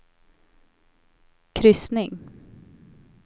kryssning